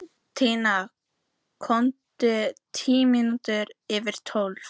Tinna kom tíu mínútur yfir tólf.